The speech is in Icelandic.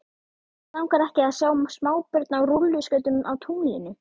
Hvern langar ekki að sjá smábörn á rúlluskautum á tunglinu?